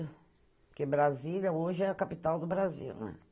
Porque Brasília hoje é a capital do Brasil, né?